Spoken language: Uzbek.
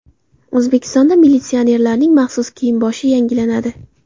O‘zbekistonda militsionerlarning maxsus kiyim-boshi yangilanadi .